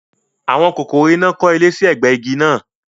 Àwọn kòkòrò iná kọ́ ilé sí ẹ̀gbẹ igi náà